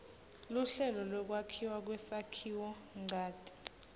luhlelo lwekwakhiwa kwesakhiwonchanti